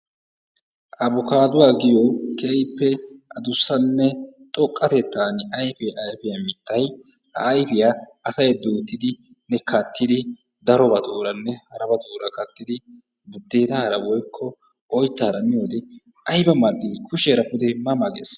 Aybbukaduwa giyo keehippe addussanne xoqqatettan ayfiyaa ayfiyaa mittay, ayfiyaa asay duuttidi kattidi darobatuuranne harabatuura kattidi buddeenara woykko oyttaara miyoode aybba mal"i kushshiyaara pude ma ma gees.